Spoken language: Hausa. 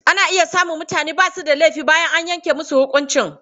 Ana iya samun mutane ba su da laifi bayan an yanke musu huƙunci.